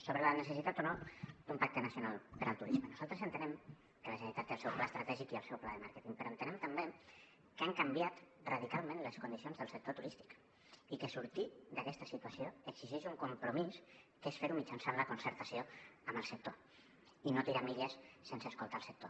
sobre la necessitat o no d’un pacte nacional per al turisme nosaltres entenem que la generalitat té el seu pla estratègic i el seu pla de màrqueting però entenem també que han canviat radicalment les condicions del sector turístic i que sortir d’aquesta situació exigeix un compromís que és fer ho mitjançant la concertació amb el sector i no tirar milles sense escoltar el sector